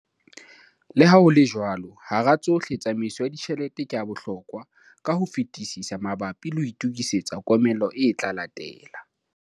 Le ha ho le jwalo, hara tsohle tsamaiso ya ditjhelete ke ya bohlokwa ka ho fetisisa mabapi le ho itokisetsa komello e tla latela.